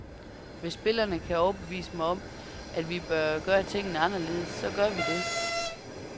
Hvis spillerne kan overbevise mig om, at vi bør gøre tingene anderledes, så gør vi det.